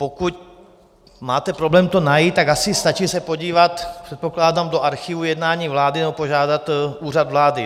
Pokud máte problém to najít, tak asi stačí se podívat, předpokládám, do archivu jednání vlády nebo požádat Úřad vlády.